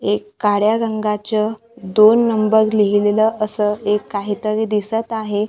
एक काळ्या रंगाच दोन नंबर लिहिलेलं असं एक काहीतरी दिसतं आहे.